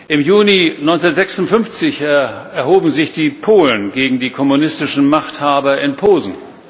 Im Juni 1956 erhoben sich die Polen gegen die kommunistischen Machthaber in Posen.